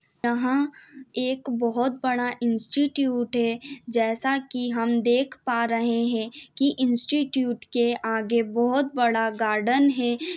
यहां एक बहुत बड़ा इंस्टिट्यूट है जैसा की हम देख पा रहे है की इंस्टिट्यूट के आगे बहुत बड़ा गार्डन है।